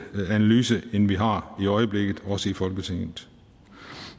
analyse end vi har i øjeblikket også i folketinget